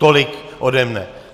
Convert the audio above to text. Tolik ode mne.